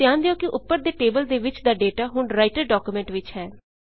ਧਿਆਨ ਦਿਓ ਕਿ ਉੱਪਰ ਦੇ ਟੇਬਲ ਦੇ ਵਿੱਚ ਦਾ ਡੇਟਾ ਹੁਣ ਰਾਈਟਰ ਡਾਕੂਮੈਂਟ ਵਿੱਚ ਹੈ